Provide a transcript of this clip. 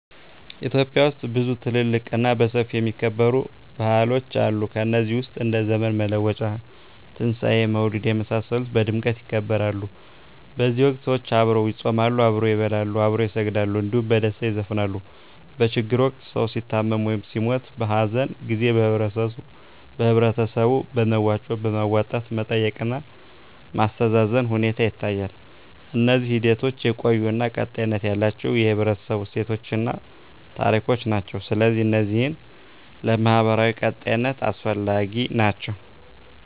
ኢትዮጵያ ውስጥ ብዙ ትልልቅ እና በሰፊው የሚከበሩ ባህሎች አሉ ከነዚህ ውስጥ እንደ ዘመን መለወጫ; ትንሣኤ; መውሊድ የመሳሰሉት በድምቀት ይከበራሉ በዚህ ወቅት ሰዎች አብረው ይጾማሉ፣ አብረው ይበላሉ፣ አብረው ይሰግዳሉ እንዲሁም በደስታ ይዘፍናሉ። በችግር ወቅት ሰዉ ሲታመም ወይም ሲሞት(በሀዘን) ጊዜ በህበረተሰቡ በመዋጮ በማዋጣት መጠየቅ እና ማስተዛዘን ሁኔታ ይታያል። እነዚህ ሂደቶች የቆዩ እና ቀጣይነት ያላቸው የህብረተሰቡ እሴቶችን እና ታሪኮችን ናቸው። ስለዚህ እነዚህ ለማህበራዊ ቀጣይነት አስፈላጊ ናቸው